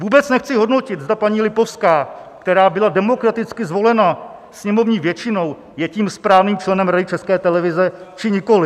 Vůbec nechci hodnotit, zda paní Lipovská, která byla demokraticky zvolena sněmovní většinou, je tím správným členem Rady České televize, či nikoliv.